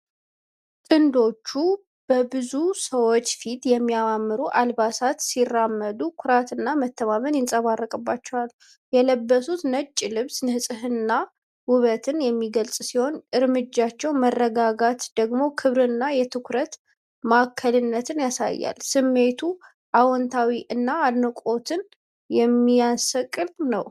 ጥንዶቹ በብዙ ሰዎች ፊት በሚያማምሩ አልባሳት ሲራመዱ ኩራትና መተማመን ይንጸባረቅባቸዋል። የለበሱት ነጭ ልብስ ንጽህናንና ውበትን የሚገልጽ ሲሆን፣ የእርምጃቸው መረጋጋት ደግሞ ክብርንና የትኩረት ማዕከልነትን ያሳያል። ስሜቱ አዎንታዊ እና አድናቆትን የሚቀሰቅስ ነው።